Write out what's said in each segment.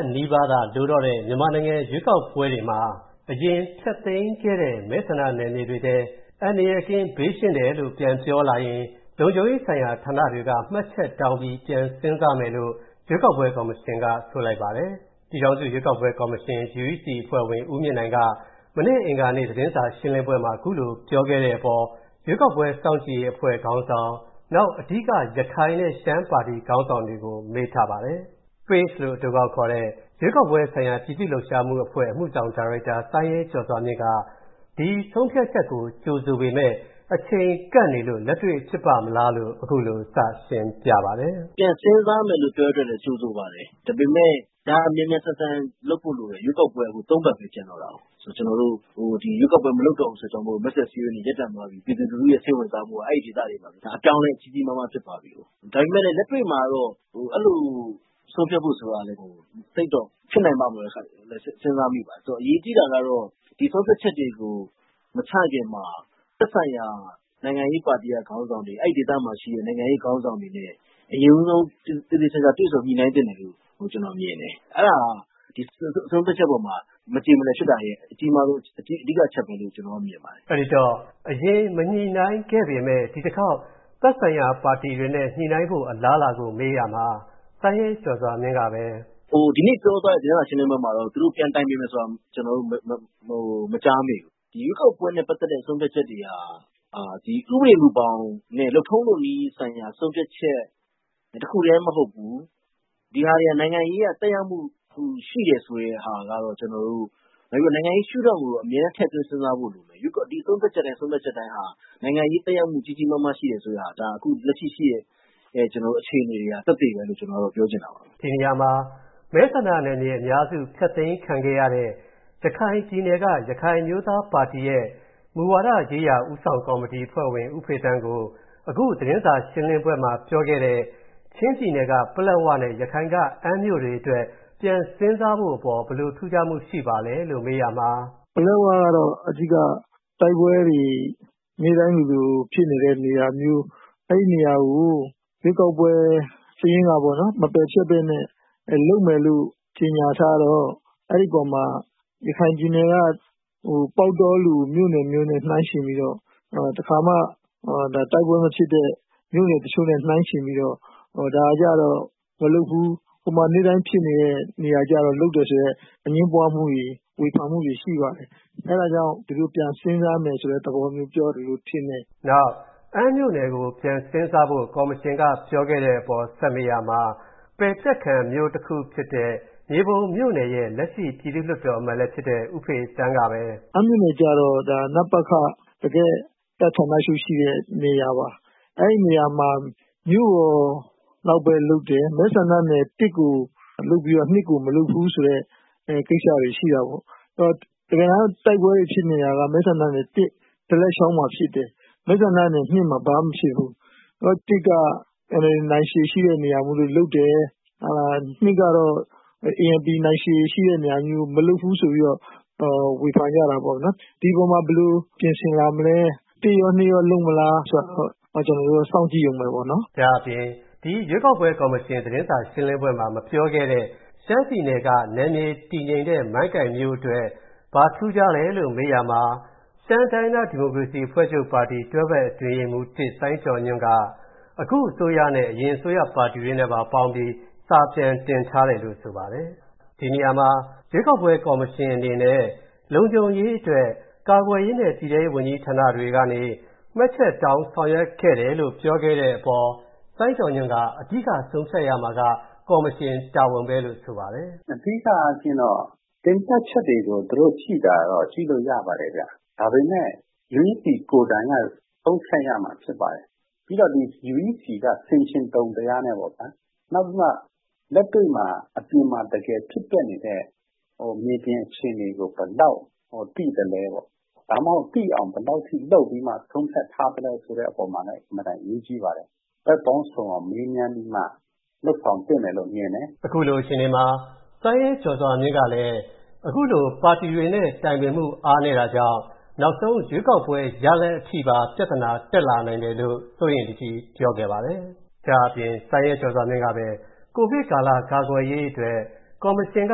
တ်နီးပါးသာလိုတော့တဲ့ မြန်မာနိုင်ငံရွေးကောက်ပွဲတွေမှာ အရင်ဖျက်သိမ်းခဲ့တဲ့ မဲဆန္ဒနယ်မြေတွေထဲ၊ အန္တရာယ်ကင်း၊ ဘေးရှင်းတယ်လို့ ပြန်ပြောလာရင် လုံခြုံရေးဆိုင်ရာဌာနတွေက မှတ်ချက်တောင်းပြီး ပြန်စဉ်းစားမယ်လို့ ရွေးကောက်ပွဲကော်မရှင်က ဆိုပါတယ်။ လို့ အတိုကောက်ခေါ်တဲ့ရွေးကောက်ပွဲဆိုင်ရာ ပြည်သူ့လှုပ်ရှားမှု အဖွဲ့ရဲ့ အမှုဆောင်ဒါရိုက်တာ ဦးစိုင်းရဲကျော်စွာမြင့်က ဒီဆုံးဖြတ်ချက်ကို ကြိုဆိုပေမယ့် အချိန်ကပ်နေလို့ လက်တွေ့ဖြစ်ပါ့မလားလို့ အခုလို စရှင်းပြပါတယ်။ “ပြန်စဉ်းစားမယ်လို့ပြောတဲ့အတွက်လည်း ကြိုဆိုပါတယ်။ ဒါပေမယ့် ဒါမြန်မြန်ဆန်ဆန်လုပ်ဖို့လိုတယ် ရွေးကောက်ပွဲက ၃ ပတ်ပဲ ကျန်တော့တယ်။ ရွေးကောက်ပွဲ မလုပ်တော့တဲ့အတွက် မဲဆွယ်စည်းရုံးရေးတွေ ရပ်တန့်သွားပြီ ပြည်သူလူထုရဲ့ စိတ်ဝင်စားမှုက အဲဒီဒေသတွေမှာ အပြောင်းအလဲကြီးကြီးမားမားဖြစ်သွားပြီကို။ ဒါပေမယ့်လည်း လက်တွေ့မှာတော့အဲလိုဆုံးဖြတ်ဖို့ဆိုတာကလည်း ဖြစ်နိုင်ပါ့မလား ဆိုတာလည်း စဉ်းစားမိပါတယ်။ ဆိုတော့ အရေးကြီးတာကတော့ ဒီဆုံးဖြတ်ချက်တွေကို မချခင်မှာ သက်ဆိုင်ရာ နိုင်ငံရေးပါတီက ခေါင်းဆောင်တွေ ၊ အဲဒီဒေသမှာရှိတဲ့ နိုင်ငံရေးခေါင်းဆောင်တွေနဲ့ အရင်ဦးဆုံး သေသေချာချာ တွေ့ဆုံညှိနှိုင်းသင့်တယ်လို့ ကျနော်မြင်တယ်။အဲဒါက ဒီဆုံးဖြတ်ချက်အပေါ်မှာ မကြေမလည်ဖြစ်တာရဲ့ အဓိက အကြီးမားဆုံးအချက်ပဲလို့ မြင်ပါတယ်။” အဲဒီတော့ အရင်မညှိနှိုင်းခဲ့ပေမယ့် ဒီတခေါက် သက်ဆိုင်ရာပါတီတွေနဲ့ ညှိနှိုင်းဖို့အလားအလာကို မေးရာမှာ ဦးစိုင်းရဲကျော်စွာမြင့်က “ဒီနေ့ ပြောသွားတဲ့ သတင်းစာရှင်းလင်းပွဲမှာတော့ သူတို့ ပြန်တိုင်ပင်မယ်ဆိုတာ ကျနော်တို့ မကြားမိဘူး။ ရွေးကောက်ပွဲနဲ့ ပတ်သက်တဲ့ ဆုံးဖြတ်ချက်တွေဟာ ဥပဒေမူဘောင်နဲ့ လုပ်ထုံးလုပ်နည်းဆိုင်ရာ ဆုံးဖြတ်ချက် တခုတည်းမဟုတ်ဘူး ဒါတွေက နိုင်ငံရေးအရ သက်ရောက်မှု ရှိတယ်ဆိုတဲ့ ဟာကတော့ ကျနော်တို့၊ နောက်ပြီးတော့ နိုင်ငံရေးရှု့ထောင့်ကိုတော့ အမြဲထည့်သွင်းစဉ်းစားဖို့လိုမယ် ။ ဒီဆုံးဖြတ်ချက်တိုင်းဟာ နိုင်ငံရေး သက်ရောက်မှု ကြီးကြီးမားမားရှိတယ်ဆိုတဲ့ဟာ ။ ဒါကျတော်တို့ လက်ရှိရှိတဲ့ အခြေအနေက သက်သေပဲလို့ ကျနော်တို့ ပြောချင်ပါတယ်။” ဒီနေရာမှာ မဲဆန္ဒနယ်မြေအများစု ဖျက်သိမ်းခံရတာ ရခိုင်ပြည်နယ်က ရခိုင်အမျိုးသားပါတီရဲ့ မူဝါဒရေးရာ ဦးဆောင်ကော်မတီ အဖွဲ့ဝင် ဦးဖေသန်းကိုအခု သတင်းစာရှင်းလင်းပွဲမှာ ပြောခဲ့တဲ့ ချင်းပြည်နယ်က ပလက်ဝနဲ့ ရခိုင်က အမ်းမြို့တွေအတွက် ပြန်စဉ်းစားဖို့အပေါ် ဘယ်လို ထူးခြားမှု ရှိပါသလဲလို့ မေးရာမှာ “ပလက်ဝကတော့ အဓိက တိုက်ပွဲတွေ နေ့တိုင်းလိုလိုဖြစ်နေတဲ့နေရာမျိုး အဲဒီနေရာကို ရွေးကောက်ပွဲ စာရင်းကနေ မပယ်ပဲနဲ့ လုပ်မယ်လို့ ကြေညာထားတော့ အဲဒီအပေါ်မှာ ရခိုင်ပြည်နယ်က ပေါက်တောလို မြို့နယ်မျိုးနဲ့ နှိုင်းယှဉ်ပြီးတော့ တခါမှ တိုက်ပွဲ မဖြစ်တဲ့ မြို့နယ်တချို့နဲ့ နှိုင်းယှဉ်ပြီးတော့ ဒါကျတော့ မလုပ်ဘူး။ ဟိုမှာ နေ့တိုင်းဖြစ်နေတဲ့ နေရာကျတော့ လုပ်တယ်ဆိုတဲ့ အငြင်းပွားမှုှတွေ ဝေဖန်မှုတွေ ရှိပါတယ်။ အဲဒါကြောင့် ဒီလိုပြန်စဉ်းစားမယ်ဆိုတဲ့ သဘောမျိုးလို့ ကျနော်ထင်တယ်။” နောက် အမ်း မြို့နယ်ကို ပြန်စဉ်းစားဖို့ ကော်မရှင်က ပြောခဲ့တဲ့အပေါ် ဆက်မေးရာမှာ ပယ်ဖျက်ခံ မြို့တခုဖြစ်တဲ့ မြေပုံမြို့နယ်ရဲ့ လက်ရှိ ပြည်သူ့လွှတ်တော်အမတ်လည်းဖြစ်တဲ့ ဦးဖေသန်းက “ အမ်းမြို့နယ်ကျတော့ တကယ့် နပခ တကယ့် တပ်ဌာနချုပ်ရှိတဲ့ နေရာပါ။ အဲဒီနေရာမှာ မြို့လောက်ပဲ လုပ်တယ် မဲဆန္ဒနယ် ၁ ကို လုပ်ပြီးတော့ ၂ ကို မလုပ်ဘူးဆိုတဲ့ ကိစ္စတွေ ရှိတာပေါ့နော်။ တကယ်တမ်း တိုက်ပွဲတွေ ဖြစ်နေတာကတော့ မဲဆန္ဒနယ် ဒလက်ချောင်းမှာဖြစ်တယ်။ မှာ ဘာမှ မဖြစ်ဘူး။ မဲဆန္ဒနယ် က NLD နိုင်ခြေရှိတဲ့နေရာမို့ လုပ်တယ်။ ကတော့ ANP နိုင်ခြေရှိတဲ့နေရာမို့ မလုပ်ဘူးဆိုပြီးတော့ ဝေဖန်ကြတာပေါ့နော်။ ဒီအပေါ်မှာ ဘယ်လိုပြင်ဆင်မလဲ ၁ ရော ၂ ရော လုပ်မလား ဆိုတာကိုတော့ ကျနော်တို့ စောင့်ကြည့်ဦးမယ်ပေါ့နော်။” ဒါ့အပြင် ဒီရွေးကောက်ပွဲ ကော်မရှင် သတင်းစာရှင်းလင်းပွဲမှာ မပြောခဲ့တဲ့ ရှမ်းပြည်နယ်က နယ်မြေ တည်ငြိမ်တဲ့ မိုင်းကိုင်မြို့နယ် အတွက် ဘာထူးခြားလဲလို့မေးရာမှာ ရှမ်းတိုင်းရင်းသား ဒီမိုကရေစီအဖွဲ့ချုပ်ပါတီဝင် တွဲဖက်အတွင်းရေးမှူး စိုင်းကျော်ညွှန့်က အခုအစိုးရနဲ့ အရင်အစိုးရ ပါတီတွေနဲ့ ပေါင်းပြီး စာပြန်တင်ထားတယ်လို့ ဆိုပါတယ်။ ဒီနေရာမှာ ရွေးကောက်ပွဲ ကော်မရှင်အနေနဲ့ လုံခြုံရေးအတွက် ကာကွယ်ရေးနဲ့ ပြည်ထဲရေးဝန်ကြီး ဌာနတွေကနေ မှတ်ချက်တောင်း ဆောင်ရွက်ခဲ့တယ်လို့ ပြောခဲ့တဲ့အပေါ် စိုင်းကျော်ညွှန့်က အဓိက ဆုံးဖြတ်ရမှာက ကော်မရှင်တာဝန်ပဲလို့ ဆိုပါတယ်။ “အဓိကအားဖြင့်တော့ သုံးသပ်ချက်တွေကို ကြည့်ရင်တော့ ကြည့်လို့ရပါတယ်ခင်ဗျ။ ဒါပေမယ့် UEC ကိုယ်တိုင်က ဆုံးဖြတ်ရမှာ ဖြစ်ပါတယ်။ UEC က ဆင်ချင်တုံ တရားနဲ့ပေါ့ဗျာ ၊ နောက်လက်တွေ့ အပြင်မှာ တကယ်ဖြစ်ပျက်နေတဲ့ မြေပြင်အခြေအနေကို ဘယ်လောက်သိသလဲပေါ့ဗျာ ၊ ဒါမှမဟုတ် သိအောင် ဘယ်လောက်အထိလုပ်ပြီးမှ ဆုံးဖြတ်ထားသလဲ ဆိုတဲ့အပေါ်မှာလည်း အင်မတန်အရေးကြီးပါတယ်။ ဘက်ပေါင်းစုံမေးမြန်းပြီးမှ လုပ်ဆောင်သင့်တယ်လို့ မြင်ပါတယ်။” အခုလိုအခြေအနေမှာ စိုင်းရဲကျော်စွာမြင့်ကလည်း အခုလို ပါတီတွေနဲ့ တိုင်ပင်မှု အားနည်းတာကြောင့် နောက်ဆုံးရွေးကောက်ပွဲ ရလဒ်အထိပါ ပြဿနာ တက်လာနိုင်တယ်လို့ စိုးရိမ်တကြီး ပြောခဲ့ပါတယ်။ ဒါ့အပြင် စိုင်းရဲကျော်စွာမြင့်က COVID ကာလ ကာကွယ်ရေးအတွက် ကော်မရှင်က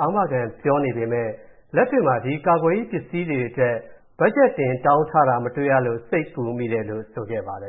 အာမခံပြောနေပေမယ့် လက်တွေ့မှာ ဒီကာကွယ်ရေး ပစ္စည်းတွေအတွက် ဘက်ဂျက်တင် တောင်းထားတာ မတွေ့ရလို့ စိတ်ပူမိတယ်လို့ ဆိုခဲ့ပါတယ်